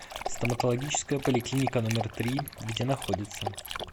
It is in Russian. стоматологическая поликлиника номер три где находится